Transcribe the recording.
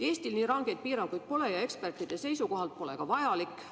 Eestis nii rangeid piiranguid pole ja ekspertide seisukohalt pole need ka vajalikud.